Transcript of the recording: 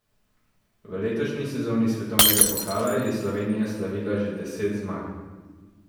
V letošnji sezoni svetovnega pokala je Slovenija slavila že deset zmag.